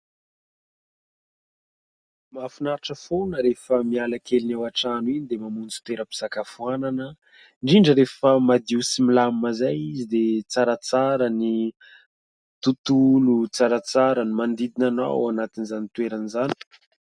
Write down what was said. Mahafinaritra foana rehefa miala kely ny ao an-trano iny, dia mamonjy toeram-pisakafoanana, indrindra rehefa madio sy milamina izay izy, dia tsaratsara ny tontolo, tsaratsara ny manodidina anao ao anatin'izany toerana izany.